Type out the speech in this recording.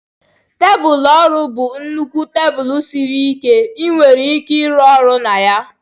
Tebụl ọrụ bụ nnukwu tebụl siri ike nke ị nwere ike ịrụ ọrụ na ya.